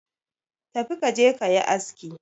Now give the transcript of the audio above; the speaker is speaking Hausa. tafi ka je ka yi aski